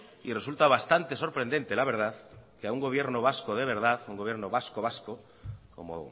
y resulta bastante sorprendente la verdad que a un gobierno vasco de verdad un gobierno vasco vasco como